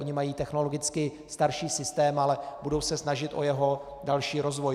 Oni mají technologicky starší systém, ale budou se snažit o jeho další rozvoj.